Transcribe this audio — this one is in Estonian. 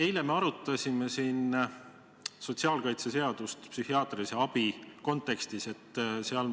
Eile me arutasime siin sotsiaalkaitseseadust psühhiaatrilise abi kontekstis.